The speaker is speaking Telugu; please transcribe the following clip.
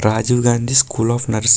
Rajiv Gandhi school of nurse --